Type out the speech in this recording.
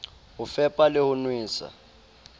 ho fepa le ho nwesa